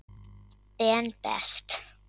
Ben Best.